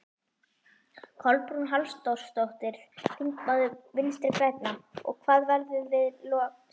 Kolbrún Halldórsdóttir, þingmaður Vinstri-grænna: Og hvað verður við lok samningstímans?